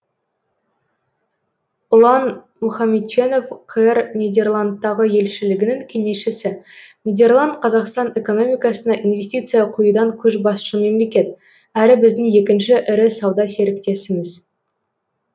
ұлан мұхамедченов қр нидерландтағы елшілігінің кеңесшісі нидерланд қазақстан экономикасына инвестиция құюдан көшбасшы мемлекет әрі біздің екінші ірі сауда серіктесіміз